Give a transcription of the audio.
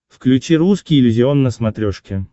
включи русский иллюзион на смотрешке